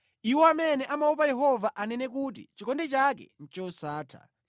Iwo amene amaopa Yehova anene kuti: “Chikondi chake ndi chosatha.”